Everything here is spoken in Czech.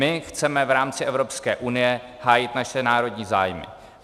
My chceme v rámci Evropské unie hájit naše národní zájmy.